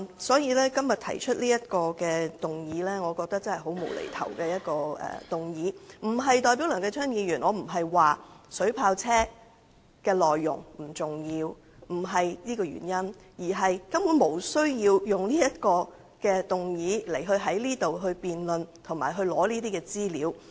所以，梁繼昌議員今天動議這項議案，我認為並無必要，但這不代表我認為水炮車的資料不重要，不是這原因，而是根本不用在立法會會議上提出這項議案，以進行辯論和索取資料。